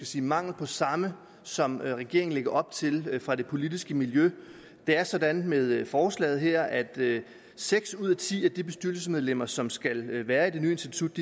sige mangel på samme som regeringen lægger op til fra det politiske miljø det er sådan med forslaget her at seks ud af ti af de bestyrelsesmedlemmer som skal være i det nye institut